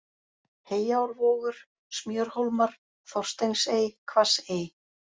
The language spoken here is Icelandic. Heyárvogur, Smjörhólmar, Þorsteinsey, Hvassey